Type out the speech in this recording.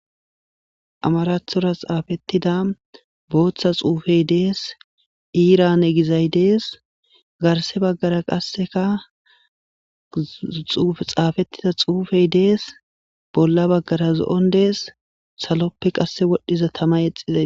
Amarathora xaafettida booththa xuufey dees iirane gizay dees garse baggara qassekaxaafettida xuufey dees bolla baggara zo'on dees saloppe qasse wodhdhiza tama exizay